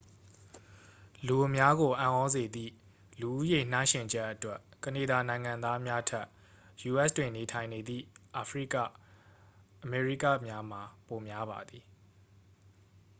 လူအများကို အံ့သြစေသည့် လူဦးရေ နှိုင်းယှဉ်ချက်အတွက် ကနေဒါနိုင်ငံသားများထက် ယူအက်စ်တွင် နေထိုင်နေသည့် အာဖရိကအမေရိကများမှာ ပိုများပါသည်